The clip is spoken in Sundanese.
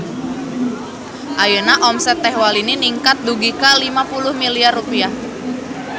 Ayeuna omset Teh Walini ningkat dugi ka 50 miliar rupiah